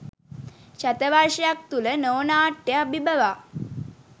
ශතවර්ෂයක් තුළ නෝ නාට්‍ය අභිබවා